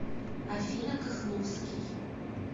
афина кахновский